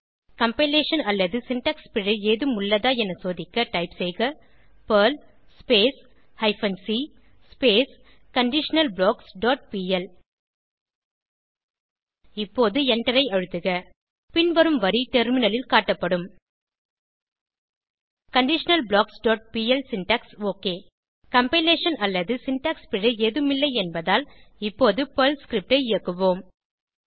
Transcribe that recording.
compilation அல்லது syntax பிழை ஏதேனும் உள்ளதா என சோதிக்க டைப் செய்க Perl hyphen C conditional blocks dot P L இப்போது எண்டரை அழுத்துக பின்வரும் வரி டெர்மினலில் காட்டப்படும் conditionalblocksபிஎல் சின்டாக்ஸ் ஒக் கம்பைலேஷன் அல்லது சின்டாக்ஸ் பிழை ஏதும் இல்லை என்பதால் இப்போது பெர்ல் ஸ்கிரிப்ட் ஐ இயக்குவோம்